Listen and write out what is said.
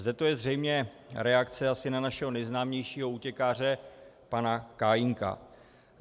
Zde to je zřejmě reakce asi na našeho nejznámějšího útěkáře pana Kajínka.